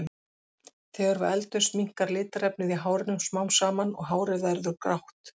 Þegar við eldumst minnkar litarefnið í hárinu smám saman og hárið verður því grátt.